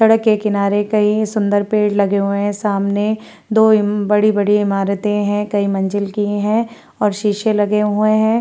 सड़क के किनारे कई सुंदर पेड़ लगे हुए हैं। सामने दो बड़ी-बड़ी इमारतें हैं। कई मंजिल की हैं और शीशे लगे हुए हैं।